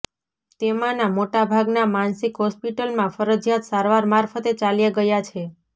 તેમાંના મોટા ભાગના માનસિક હોસ્પિટલોમાં ફરજિયાત સારવાર મારફતે ચાલ્યા ગયા છે